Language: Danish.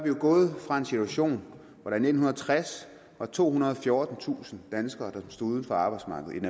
jo gået fra en situation hvor der i nitten tres var tohundrede og fjortentusind danskere der stod uden for arbejdsmarkedet